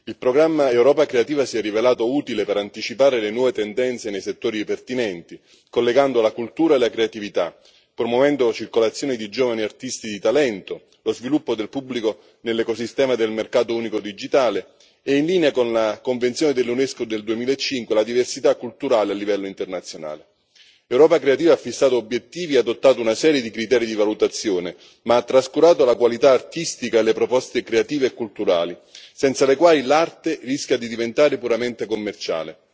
Il programma Europa creativa si è rivelato utile per anticipare le nuove tendenze nei settori pertinenti, collegando la cultura e la creatività, promuovendo la circolazione di giovani artisti di talento, lo sviluppo del pubblico nell'ecosistema del mercato unico digitale e, in linea con la Convenzione dell'Unesco del 2005, la diversità culturale a livello internazionale. Europa creativa ha fissato obiettivi, ha adottato una serie di criteri di valutazione, ma ha trascurato la qualità artistica delle proposte creative e culturali senza le quali l'arte rischia di diventare puramente commerciale.